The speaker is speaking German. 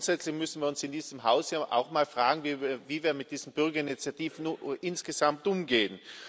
Grundsätzlich müssen wir uns in diesem Haus auch mal fragen, wie wir mit diesen Bürgerinitiativen insgesamt umgehen.